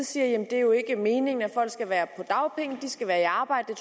siger jamen det er jo ikke meningen at folk skal være på dagpenge de skal være i arbejde